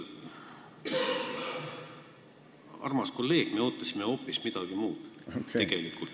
Armas kolleeg, me ootasime hoopis midagi muud!